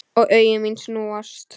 Og augu mín snúast.